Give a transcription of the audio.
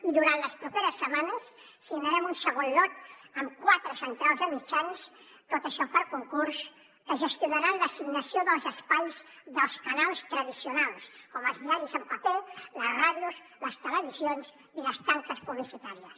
i durant les properes setmanes signarem un segon lot amb quatre centrals de mitjans tot això per concurs que gestionaran l’assignació dels espais dels canals tradicionals com els diaris en paper les ràdios les televisions i les tanques publicitàries